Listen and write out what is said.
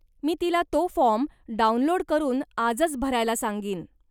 मी तिला तो form download करून आजचं भरायला सांगीन.